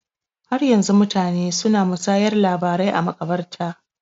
Har yanzu mutane su na musayar labarai a maƙabarta